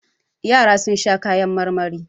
Yara sun sha kayan marmari.